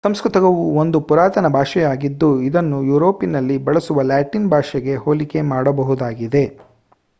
ಸಂಸ್ಕೃತವು ಒಂದು ಪುರಾತನ ಭಾಷೆಯಾಗಿದ್ದು ಇದನ್ನು ಯುರೋಪಿನಲ್ಲಿ ಬಳಸುವ ಲ್ಯಾಟಿನ್ ಭಾಷೆಗೆ ಹೋಲಿಕೆ ಮಾಡಬಹುದಾಗಿದೆ